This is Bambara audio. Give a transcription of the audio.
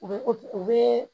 U bɛ u bɛ